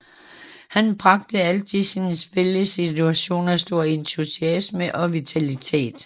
Han bragte altid sine spillesituationer stor entusiasme og vitalitet